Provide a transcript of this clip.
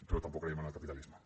però tampoc creiem en el capitalisme